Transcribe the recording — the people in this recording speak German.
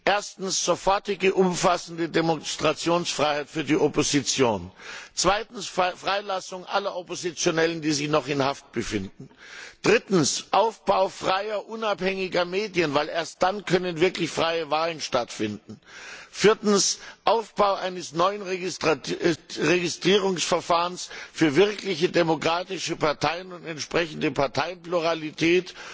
Erstens Sofortige umfassende Demonstrationsfreiheit für die Opposition, zweitens Freilassung aller Oppositionellen, die sich noch in Haft befinden, drittens Aufbau freier, unabhängiger Medien, weil erst dann wirklich freie Wahlen stattfinden können, viertens Aufbau eines neuen Registrierungsverfahrens für wirklich demokratische Parteien und entsprechende Parteienpluralität